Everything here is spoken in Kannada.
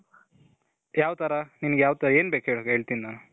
ಯಾವ್ ತರ ನಿನ್ಗೆ ಯಾವ್ ಏನ್ ಬೇಕು ಹೇಳು ? ಹೇಳ್ತೀನಿ ನಾನು